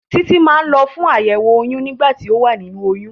Títí máa ń lọ fún àyẹ̀wò oyún nígbà tí o wà nínú oyún.